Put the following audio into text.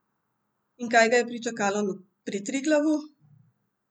In kaj ga je pričakalo pri Triglavu?